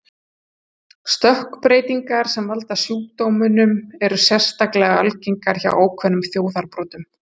Stökkbreytingar sem valda sjúkdómnum eru sérstaklega algengar hjá ákveðnum þjóðarbrotum.